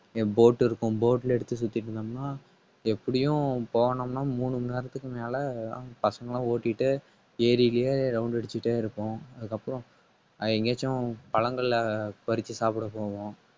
என் boat இருக்கும் boat ல எடுத்து சுத்திட்டு இருந்தோம்ன்னா எப்படியும் போனோம்னா மூணு மணி நேரத்துக்கு மேல அங்க பசங்களாம் ஓட்டிட்டு ஏரியிலேயே round அடிச்சிட்டே இருப்போம். அதுக்கப்புறம் அது எங்கேயாச்சும் பழங்களை பறிச்சு சாப்பிட போவோம்